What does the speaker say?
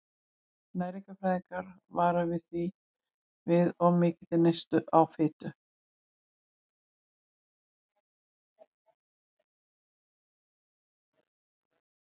Næringarfræðingar vara því við of mikilli neyslu á fitu.